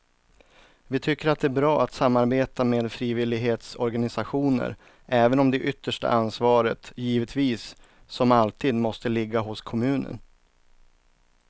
Vi tycker att det är bra att samarbeta med frivillighetsorganisationer även om det yttersta ansvaret givetvis som alltid måste ligga hos kommunen.